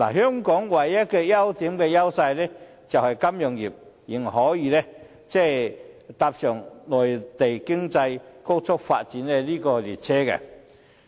香港唯一的優勢，就是金融業仍可搭上內地經濟高速發展的列車。